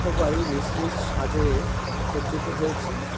সবাই নিজ নিজ সাজে সজ্জিত হয়েছে।